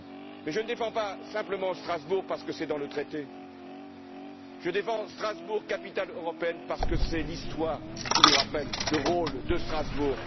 Mais je ne défends pas simplement Strasbourg parce que c'est dans le traité, je défends Strasbourg, capitale européenne, parce que c'est l'histoire qui nous rappelle le rôle de Strasbourg.